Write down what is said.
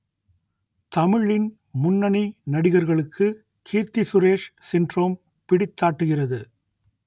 தமிழின் முன்னணி நடிகர்களுக்கு கீர்த்தி சுரேஷ் சின்ட்ரோம் பிடித்தாட்டுகிறது